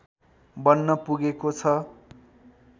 बन्न पुगेको छ